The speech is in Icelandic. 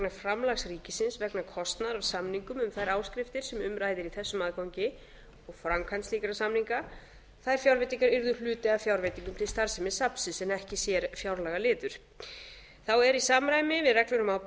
framlags ríkisins vegna kostnaðar á samningum um þær áskriftir sem um ræðir í þessum aðgangi og framkvæmd slíkra samninga þær fjárveitingar yrðu hluti af fjárveitingum til starfsemi safnsins en ekki sérfjárlagaliður þá er í samræmi við ábyrgð forstöðumanna